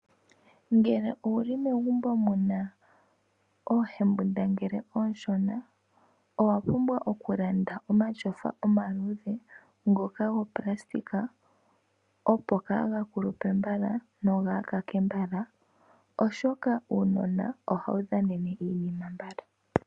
Ngele owuli megumbo muna oohendambungile aashona owa pumbwa okulanda omatyofa omaludhe ngoka goonayilona opo kaga kulupe mbala nokaga kake mbala ,oshoka uunona ohawu dhanene iinima mbala.